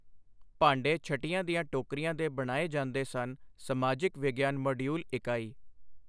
ਭਾਂਡੇ ਛਟੀਆਂ ਦੀਆਂ ਟੋਕਰੀਆਂ ਦੇ ਬਣਾਏ ਜਾਂਦੇ ਸਨ ਸਮਾਜਿਕ ਵਿਗਿਆਨ ਮਾਡਿਊਲ ਇਕਾਈ।